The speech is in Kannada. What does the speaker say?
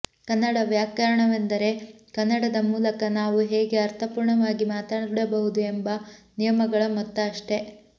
ಕನ್ನಡ ವ್ಯಾಕರಣವೆಂದರೆ ಕನ್ನಡದ ಮೂಲಕ ನಾವು ಹೇಗೆ ಅರ್ಥಪೂರ್ಣವಾಗಿ ಮಾತಾಡಬಹುದು ಎಂಬ ನಿಯಮಗಳ ಮೊತ್ತ ಅಷ್ಟೆ